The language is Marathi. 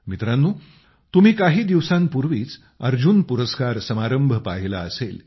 मित्रांनो तुम्ही काही दिवसांपूर्वीच अर्जुन पुरस्कार समारंभ पाहिला असेल